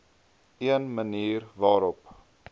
een manier waarop